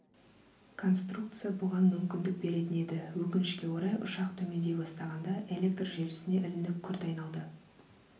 конструкция бұған мүмкіндік беретін еді өкінішке орай ұшақ төмендей бастағанда электр желісіне ілініп күрт айналды